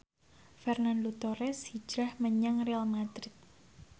Fernando Torres hijrah menyang Real madrid